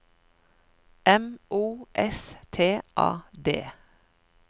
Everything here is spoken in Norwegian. M O S T A D